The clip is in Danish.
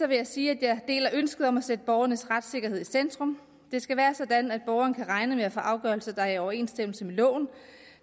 vil jeg sige at jeg deler ønsket om at sætte borgernes retssikkerhed i centrum det skal være sådan at borgerne kan regne med at få afgørelser der er i overensstemmelse med loven